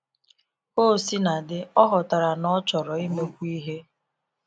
Ka o sina dị, ọ ghọtara na ọ chọrọ imekwu ihe.